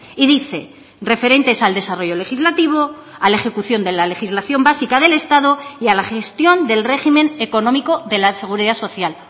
y dice referentes al desarrollo legislativo a la ejecución de la legislación básica del estado y a la gestión del régimen económico de la seguridad social